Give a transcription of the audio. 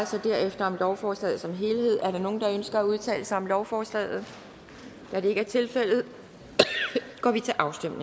sig derefter om lovforslaget som helhed er der nogen der ønsker at udtale sig om lovforslaget da det ikke er tilfældet går vi til afstemning